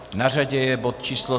Na řadě je bod číslo